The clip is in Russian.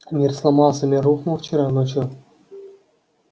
мир сломался мир рухнул вчера ночью